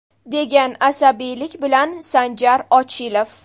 degan asabiylik bilan Sanjar Ochilov.